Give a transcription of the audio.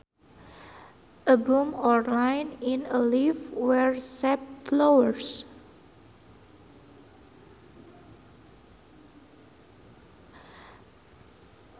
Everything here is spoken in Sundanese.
A bump or line in a leaf where sap flows